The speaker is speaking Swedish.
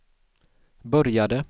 började